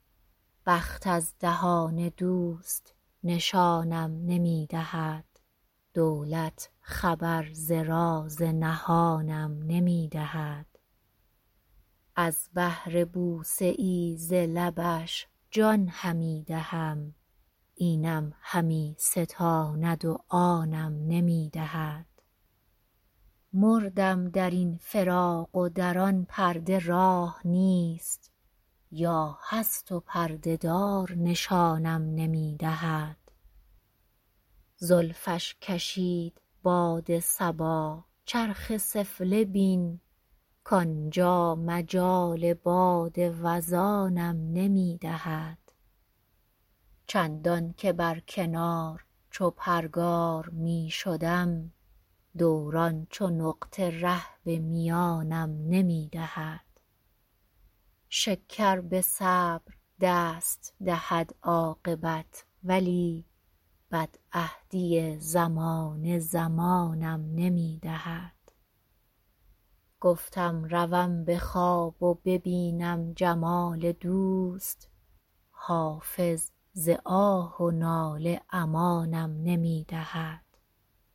بخت از دهان دوست نشانم نمی دهد دولت خبر ز راز نهانم نمی دهد از بهر بوسه ای ز لبش جان همی دهم اینم همی ستاند و آنم نمی دهد مردم در این فراق و در آن پرده راه نیست یا هست و پرده دار نشانم نمی دهد زلفش کشید باد صبا چرخ سفله بین کانجا مجال باد وزانم نمی دهد چندان که بر کنار چو پرگار می شدم دوران چو نقطه ره به میانم نمی دهد شکر به صبر دست دهد عاقبت ولی بدعهدی زمانه زمانم نمی دهد گفتم روم به خواب و ببینم جمال دوست حافظ ز آه و ناله امانم نمی دهد